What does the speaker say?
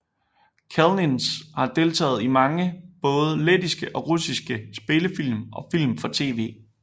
Kalniņš har deltaget i mange både lettiske og russiske spillefilm og film for tv